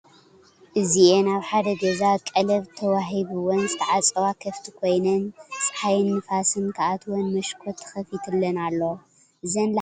እዚአን አብ ሐደ ገዛ ቀለብ ተወሃይብዎን ዝተዓፀዋ ከፍቲ ኮይነን ፀሐይን ንፋስን ክአትወን መሽኮት ተኸፊትለን አሎ። እዘን ላሕሚ ዓሌተን እንታይ ይበሃላ ይመስለኩም?